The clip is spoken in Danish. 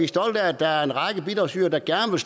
stolte af at der er en række bidragsydere der gerne